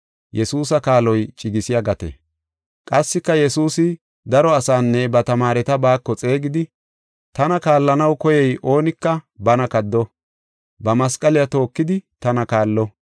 Qassika Yesuusi daro asaanne ba tamaareta baako xeegidi, “Tana kaallanaw koyiya oonika bana kaddo; ba masqaliya tookidi tana kaalo.